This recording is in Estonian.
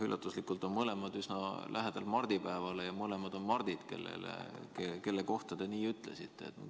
Üllatuslikult on mõlemad korrad olnud üsna lähedal mardipäevale ja mõlemad inimesed on Mardid, kelle kohta te nii ütlesite.